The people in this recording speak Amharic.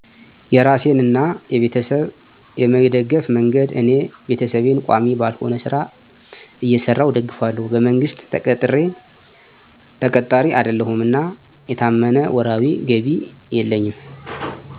. የራሴንና የቤተሰብ የመደገፍ መንገድ እኔ ቤተሰቤን ቋሚ ባልሆነ ሥራ እየሰራሁ እደግፋለሁ። በመንግሥት ተቀጣሪ አይደለሁም እና የታመነ ወርሃዊ ገቢ የለኝም